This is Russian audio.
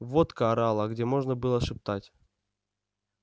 водка орала где можно было шептать